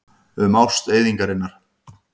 Um ást eyðingarinnar.